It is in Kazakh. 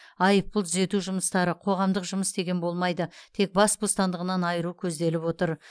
айыппұл түзету жұмыстары қоғамдық жұмыс деген болмайды тек бас бостандығынан айыру көзделіп отыр